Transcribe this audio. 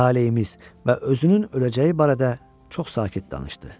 Taleyimiz və özünün öləcəyi barədə çox sakit danışdı.